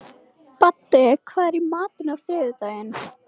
Baddi, hvað er í matinn á þriðjudaginn?